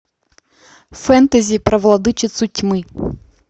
фэнтези про владычицу тьмы